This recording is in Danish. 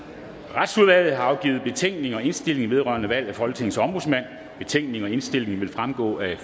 retsudvalget har afgivet betænkning og indstilling vedrørende valg af folketingets ombudsmand betænkningen og indstillingen vil fremgå af